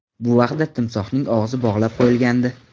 Bu vaqtda timsohning og‘zi bog‘lab qo‘yilgandi.